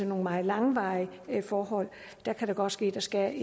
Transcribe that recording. nogle meget langvarige forhold kan det godt ske at der skal